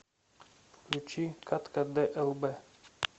включи катка длб